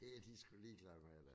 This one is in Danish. Det er de sgu ligeglade med der